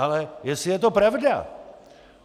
Ale jestli je to pravda.